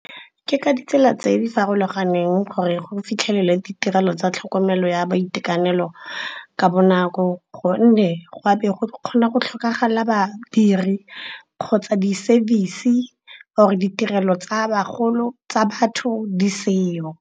Ke ka ditsela tse di farologaneng gore go fitlhelele ditirelo tsa tlhokomelo ya boitekanelo ka bonako. Gonne go a be go kgona go tlhokagala badiri, kgotsa di-service, or-e ditirelo tsa bagolo tsa batho di seyo.